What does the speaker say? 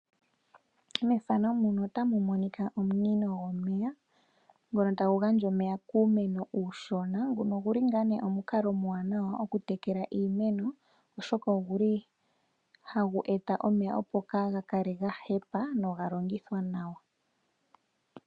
Omunino gomeya ngono tagu gandja omeya kuumeno uushona nguno oguli ngaa nee omukaloomwaanawa okuyekela iimeno, oshoka oguli hagu eta omeya opo kaaga kale gahepa noha longithwa nawa.